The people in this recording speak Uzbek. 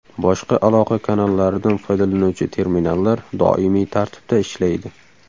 Boshqa aloqa kanallaridan foydalanuvchi terminallar doimiy tartibda ishlaydi.